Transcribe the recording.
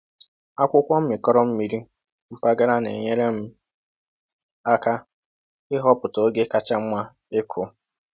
Akwụkwọ mmịkọrọ mmiri mpaghara na-enyere m aka ịhọpụta oge kacha mma ịkụ.